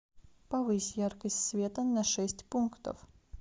повысь яркость света на шесть пунктов